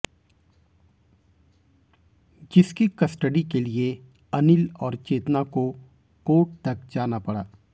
जिसकी कस्टडी के लिए अनिल और चेतना को कोर्ट तक जाना पड़ा